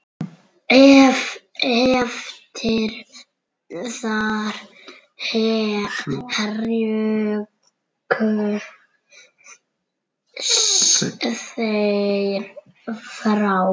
Eftir það hrukku þeir frá.